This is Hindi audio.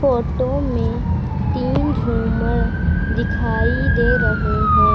फोटो में तीन झूमर दिखाई दे रहे हैं।